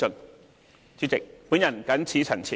代理主席，我謹此陳辭。